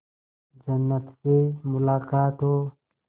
जन्नत से मुलाकात हो